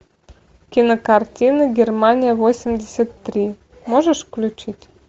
кинокартина германия восемьдесят три можешь включить